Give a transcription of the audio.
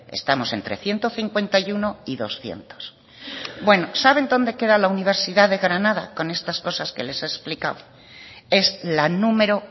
estamos entre ciento cincuenta y uno y doscientos bueno saben dónde queda la universidad de granada con estas cosas que les he explicado es la número